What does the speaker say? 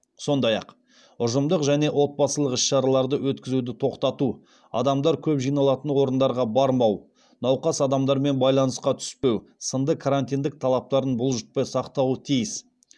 сондай ақ ұжымдық және отбасылық іс шараларды өткізуді тоқтату адамдар көп жиналатын орындарға бармау науқас адамдармен байланысқа түспеу сынды карантин талаптарын бұлжытпай сақтауы тиіс